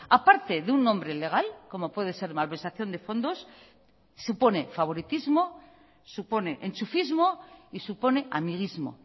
aparte de un nombre legal como puede ser malversación de fondos supone favoritismo supone enchufismo y supone amiguismo